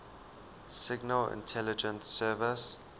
signal intelligence service